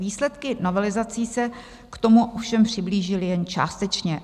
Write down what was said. Výsledky novelizací se k tomu ovšem přiblížily jen částečně.